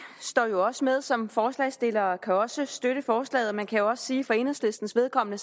er jo også med som forslagsstillere og kan også støtte forslaget man kan jo også sige at for enhedslistens vedkommende